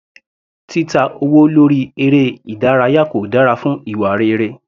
Títa owó lórí eré ìdárayá kò dára fún ìwà rere.